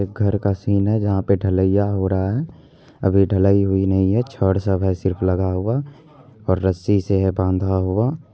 यह एक घर का सीन है जहां पर ढालाइया हो रहा है अभी ढलाईय हुई नहीं है छड़ सब है सिर्फ लगा हुआ और रस्सी से है बंधा हुआ।